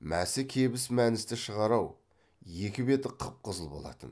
мәсі кебіс мәністі шығар ау екі беті қып қызыл болатын